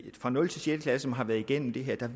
fra nul til sjette klasse som har været igennem det her